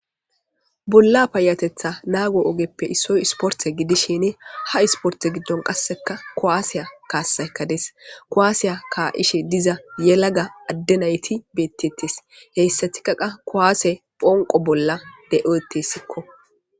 bolla payatetha naago ogeppe issoy isporte gidishin ha isporte giddon qasseka kowaasiya kaasaykades kowaasiya ka7ishe diza yelaga adde nayti beettettes heyssatikaqa kowaase phonqo bolla de7oetessikko